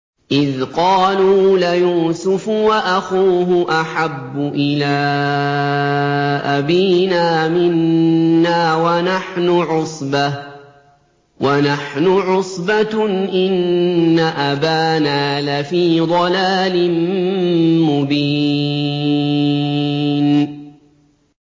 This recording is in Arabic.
إِذْ قَالُوا لَيُوسُفُ وَأَخُوهُ أَحَبُّ إِلَىٰ أَبِينَا مِنَّا وَنَحْنُ عُصْبَةٌ إِنَّ أَبَانَا لَفِي ضَلَالٍ مُّبِينٍ